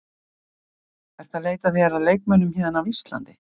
Ertu að leita þér að leikmönnum héðan af Íslandi?